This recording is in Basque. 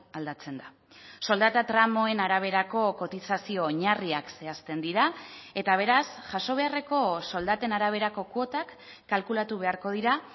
aldatzen da soldata tramoen araberako kotizazio oinarriak zehazten dira eta beraz jaso beharreko soldaten araberako kuotak kalkulatu beharko dira